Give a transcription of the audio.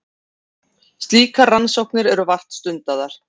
Slíkar rannsóknir eru vart stundaðar.